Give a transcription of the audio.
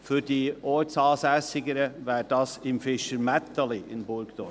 für die Ortsansässigen: Dies wäre im Fischermätteli in Burgdorf.